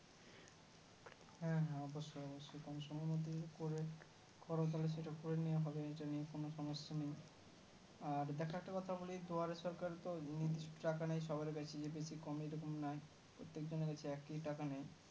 হ্যাঁ হ্যাঁ অবশ্যই অবশ্যই কম সোম এর মধ্যে যদি করে করো তাহলে সেটা করে নেওয়া হবে এটা নিয়ে কোন সমস্যা নেই আর দেখো একটা কথা বলি দুয়ারের সরকারতো নির্দিষ্ট টাকা নেই সবার কাছেই যদি কিছু কমিয়ে এরকম নেয় প্রত্যেক জনের কাছে একই টাকা নেয়